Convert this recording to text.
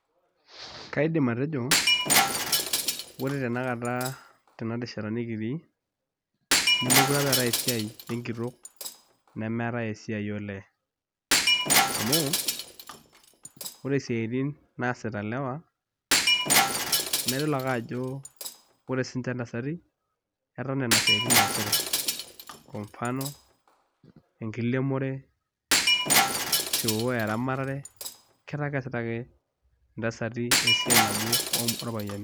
Kaidim atejo ore tenakata tenarishata nekitii neekure apa eetai esiai enkitok nemeetai esiai olee amu ore isiaitin naasita ilewa naa idol ake ajo ore siinche intasati etaa nena siaitin eesita kwa mfano enkiremore shoo/eramatare ketaa keesita ake intasati esiai nabo orpayiani.